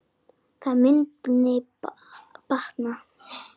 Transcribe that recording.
Það mundi batna.